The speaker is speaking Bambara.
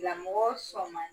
Lamɔ sɔrɔ sɔrɔ ma di